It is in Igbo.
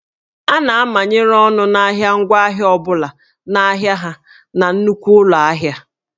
A na-amanyere ọnụ ahịa ngwaahịa ọ bụla n'ahụ ha na nnukwu ụlọ ahịa